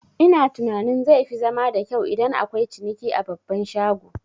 Ina tunanin zai fi zama da kyau idan akwai ciniki a babban shago